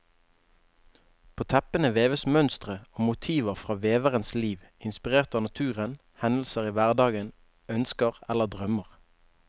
På teppene veves mønstre og motiver fra veverens liv, inspirert av naturen, hendelser i hverdagen, ønsker eller drømmer.